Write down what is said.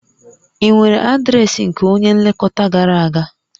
Ị nwere adreesị nke onye nlekọta gara aga?